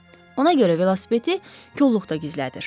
Ona görə velosipedi kolluqda gizlədir.